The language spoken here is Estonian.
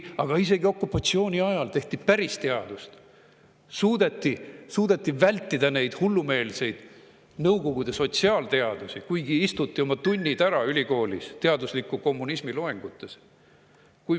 Aga isegi okupatsiooni ajal tehti päris teadust, suudeti vältida hullumeelseid Nõukogude sotsiaalteadusi, kuigi istuti oma tunnid ära ülikoolis teadusliku kommunismi loengutes.